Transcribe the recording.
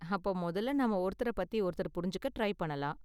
அப்ப முதல்ல நாம ஒருத்தரப் பத்தி ஒருத்தர் புரிஞ்சுக்க ட்ரை பண்ணலாம்.